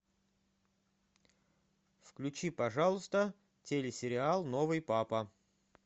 включи пожалуйста телесериал новый папа